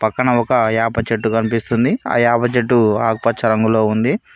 పక్కన ఒక యాప చెట్టు కనిపిస్తుంది ఆ యాప చెట్టు ఆకుపచ్చ రంగు లో ఉంది.